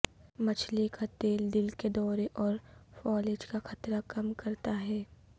مچھلی کا تیل دل کے دورے اور فالج کا خطرہ کم کرتا ہے